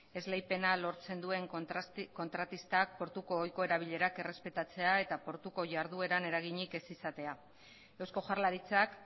esleipena lortzen duen kontratistak portuko ohiko erabilerak errespetatzea eta portuko ihardueran eraginik ez izatea eusko jaurlaritzak